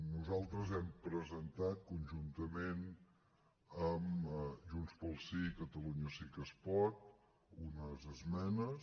nosaltres hem presentat conjuntament amb junts pel sí i catalunya sí que es pot unes esmenes